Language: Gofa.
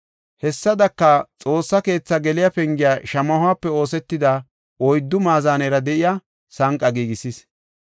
Hessadaka, Xoossa keethaa geliya pengiya shamahope oosetida oyddu maazanera de7iya sanqa giigisis.